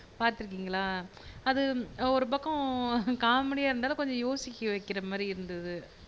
பாத்துருக்கிங்களா அது ஒரு பக்கம் காமெடியா இருந்தாலும் கொஞ்சம் யோசிக்க வைக்கிற மாதிரி இருந்தது